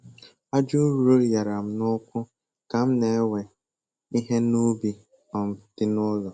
Aja ụrọ nyara m n'ụkwụ ka m na-ewe ihe n'ubi um dị n'ụlọ